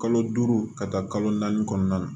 Kalo duuru ka taa kalo naani kɔnɔna na